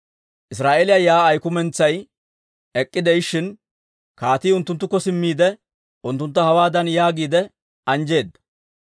Israa'eeliyaa yaa'ay kumentsay ek'k'ide'ishin, kaatii unttunttukko simmiide, unttuntta hawaadan yaagiide anjjeedda;